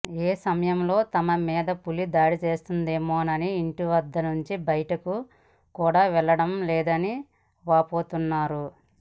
ఏ సమయంలో తమ మీద పులి దాడి చేస్తుందోమోనని ఇంటినుంచి భయటకు కూడా వెళ్లడం లేదని వాపోతున్నారు